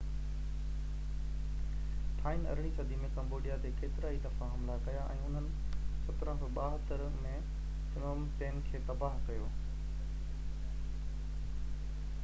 ٿائين 18 صدي ۾ ڪمبوڊيا تي ڪيترائي دفعا حملا ڪيا ۽ انهن 1772 ۾ فنوم پين کي تباه ڪيو